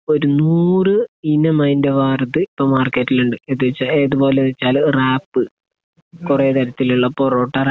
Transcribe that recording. ഒരു നൂറ് ഇനം അതിന്റെ വേറത് ഇപ്പോൾ മാർക്കറ്റിൽ ഉണ്ട്. എന്നുവെച്ചാൽ, ഏതുപോലെ എന്ന് വെച്ചാൽ റാപ്, കുറെ തരത്തിലുള്ള പൊറോട്ട റാപ്